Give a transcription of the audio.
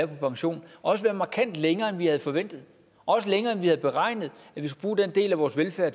på pension også være markant længere end vi havde forventet også længere end vi havde beregnet vores velfærd